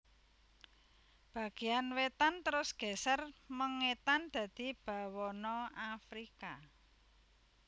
Bagéyan wètan terus geser mengètan dadi Bawana Afrika